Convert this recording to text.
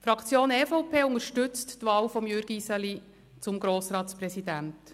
Die Fraktion EVP unterstützt die Wahl von Jürg Iseli zum Grossratspräsidenten.